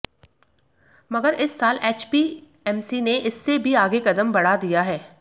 मगर इस साल एचपीएमसी ने इससे भी आगे कदम बढ़ा दिया है